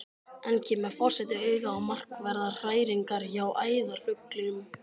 Enn kemur forseti auga á markverðar hræringar hjá æðarfuglinum.